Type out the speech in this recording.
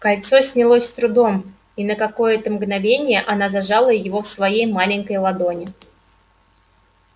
кольцо снялось с трудом и на какое-то мгновение она зажала его в своей маленькой ладони